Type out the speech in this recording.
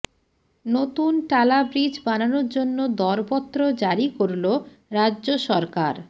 নতুন টালা ব্রিজ বানানোর জন্য দরপত্র জারি করল রাজ্য সরকার